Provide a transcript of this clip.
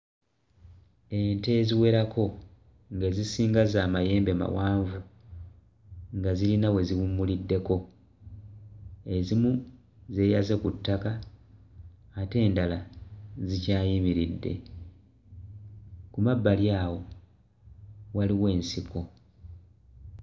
Ente eziwereko ng'ezisinga za mayembe mawanvu nga zirina we ziwummuliddeko ezimu zeeyaze ku ttaka ate endala zikyayimiridde ku mabbali awo waliwo ensiko.